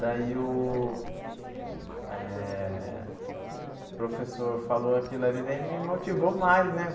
Daí o eh o professor falou aquilo ali, daí me motivou mais, né?